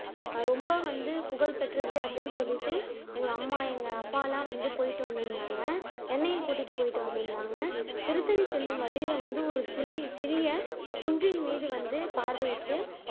ரொம்ப வந்து புகழ் பெற்றது அப்படின்னு சொல்லிட்டு எங்க அம்மா எங்க அப்பா எல்லாம் வந்து போயிட்டு வந்துருந்தாங்க என்னையும் கூட்டிட்டு போயிட்டு வந்துருந்தாங்க திருத்தணி செல்லும் வழியில வந்து ஒரு சிறிய குன்றின்மீது வந்து பார்வையிட்டு